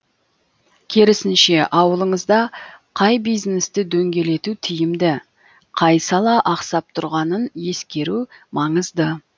керісінше ауылыңызда қай бизнесті дөңгелету тиімді қай сала ақсап тұрғанын ескеру маңызды